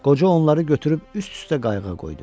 Qoca onları götürüb üst-üstə qayığa qoydu.